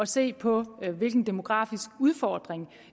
se på hvilken demografisk udfordring